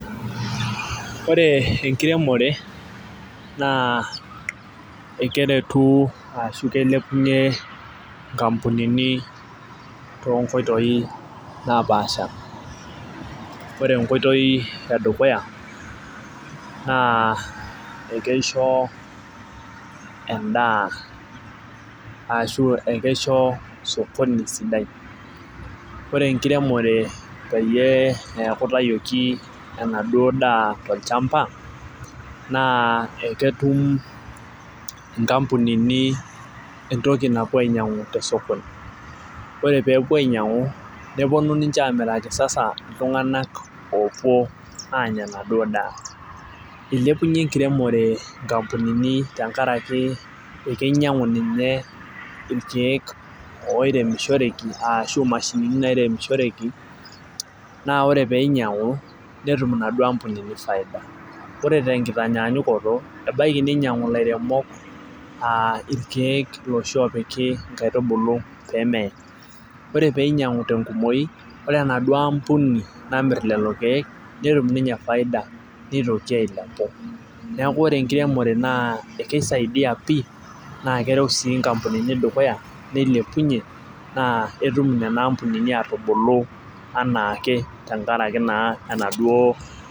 Ore enkiremore naa ekeretu ashu ikilepunye nkampunini too nkoitoi napaasha, ore enkoitoi edukuya naa ekeisho edaa ashu ekeisho sokoni sidai. ore enkiremore peyie neeku itayioki enaduoo daa tolchampa naa eketum tini entoki napuo ainyiangu te sokoni, ore peepuo ainyiangu nepuonu ninche aamiraki, sasa iltunganak oopuo aanya enaduoo daa. ilepunye enkiremore nkampunini tenkaraki ekeinyiangu ninye ilkeek oiremishoreki ashu imashini idaiki naa ore pee inyiang'u netum inaduoo ampunini faida ore tenkitanyaanyukoto ebaiki, ninyiang'u ilaremok irkeek iloshi oopiki nkaitubulu pee meye. ore peeiko tenkumoi ore enaduoo ampuni namir lelo keeku netum ninye faida nitoki ailepu. neeku ore enkiremore kisaidia pii naa kereu sii nkampunini dukuya, nilepunye naa etum Nena ampunini atubulu anaake tenkaraki naa enaduoo .